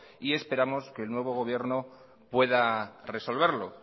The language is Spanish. y esperamos que el nuevo gobierno pueda resolverlo